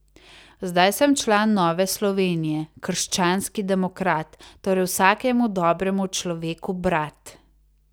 Zdaj sem član Nove Slovenije, krščanski demokrat, torej vsakemu dobremu človeku brat.